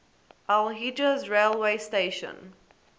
al hejaz railway station